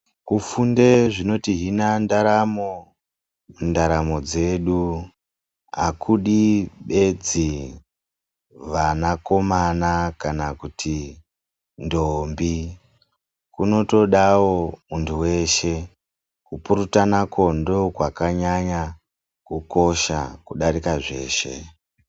Kufunda zvinotihina ndaramo, ndaramo dzedu hakudi bedzi vanakomana kana kuti ntombi kunotodawo muntu weshe. Kupurutanako ndokwakanyanya kukosha kudarika zveshe.